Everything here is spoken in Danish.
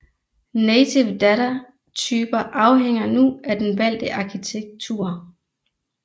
Native data typer afhænger nu af den valgte arkitektur